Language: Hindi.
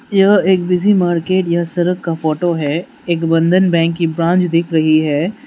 यह एक बिजी मार्केट या सड़क का फोटो है एक बंधन बैंक की ब्रांच दिख रही है।